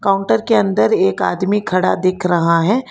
Counter के अंदर एक आदमी खड़ा दिख रहा है।